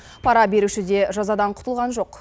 пара беруші де жазадан құтылған жоқ